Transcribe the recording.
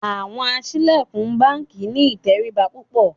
Àwọn aṣílẹ̀kùn báńkì ní ìtẹríba púpọ̀.